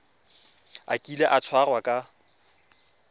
a kile a tshwarwa ka